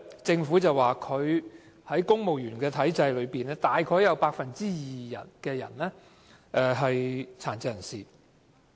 政府在過去曾經表示，公務員體制內約有 2% 是殘疾人士。